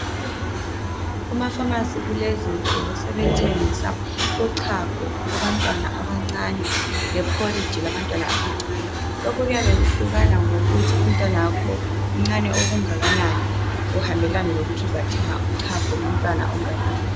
Kuma pharmacy kulezi insuku suku sebethengisa uchago lwabantwana abancane le porridge labantwana abancane lokhu kuyabe kuhlukana ngokuthi umntwanakho mncane okungakanani kuhambelane lokuthi uzathenga uchago lomntwana onganani.